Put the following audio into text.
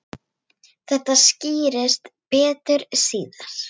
Þetta skýrist betur síðar.